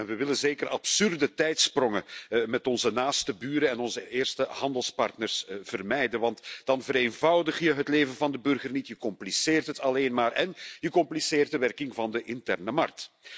We willen zeker absurde tijdsprongen met onze naaste buren en onze eerste handelspartners vermijden, want dan vereenvoudig je het leven van de burger niet, je compliceert het alleen maar, én je compliceert de werking van de interne markt.